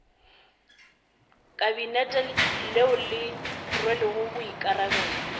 kabinete leo le rwelego boikarabelo